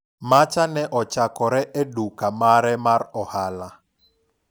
mach ne ochakore e duka mare mar ohala